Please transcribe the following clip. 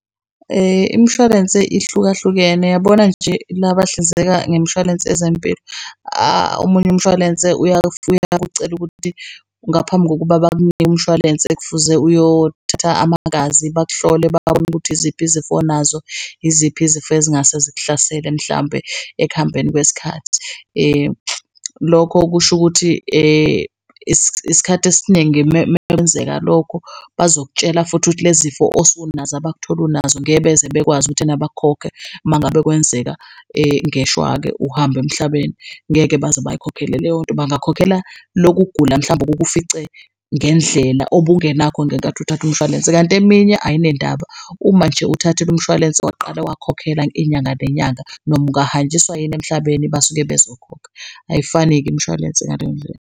Imishwalense ihlukahlukene, uyabona nje la bahlinzeka ngemshwalense ezempilo omunye umshwalense uyakucela ukuthi ngaphambi kokuba bakunike umshwalense kufuze uyothatha amagazi bakuhlole babone ukuthi yiziphi izifo oninazo, yiziphi izifo ezingase zikuhlasele mhlambe ekuhambeni kwesikhathi. Lokho kusho ukuthi isikhathi esiningi mekwenzeka lokho bazokutshela futhi ukuthi le zifo osunazo abakuthole unazo ngeke beze bekwazi ukuthena bakhokhe mangabe kwenzeka ngeshwa-ke uhambe emhlabeni, ngeke baze bayikhokhele leyo nto. Bangakhokhela loku kugula mhlambe okukufice ngendlela obungenakho ngenkathi uthatha umshwalense kanti eminye ayinendaba. Uma nje uthathile umshwalense waqala wakhokha inyanga nenyanga noma ungahanjiswa yini emhlabeni, basuke bazokhokha. Ayifani-ke imishwalense ngaleyo ndlela.